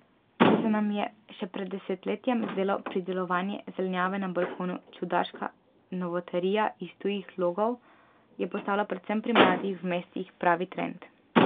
Če se nam je še pred desetletjem zdelo pridelovanje zelenjave na balkonu čudaška novotarija iz tujih logov, je postalo predvsem pri mladih v mestih pravi trend.